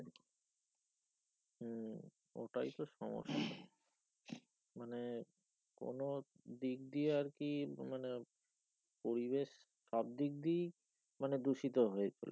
ওটাই তো সমস্যা মানে কোনো দিক দিয়ে আর কি মানে পরিবেশ সব দিক দিয়ে মানে দূষিত হয়েছে